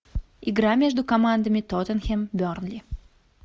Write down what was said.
игра между командами тоттенхэм бернли